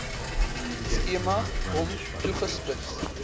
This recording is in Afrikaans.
skema hom toegespits